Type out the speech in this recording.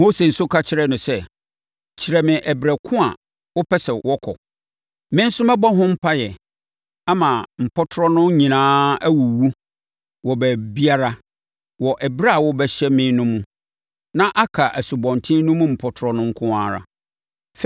Mose nso ka kyerɛɛ no sɛ, “Kyerɛ me ɛberɛ ko a wopɛ sɛ wɔkɔ. Me nso mɛbɔ ho mpaeɛ ama mpɔtorɔ no nyinaa awuwu wɔ baabiara wɔ ɛberɛ a wobɛhyɛ me no mu, na aka asubɔnten no mu mpɔtorɔ no nko ara.”